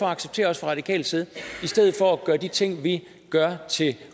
acceptere fra radikal side i stedet for at gøre de ting vi gør til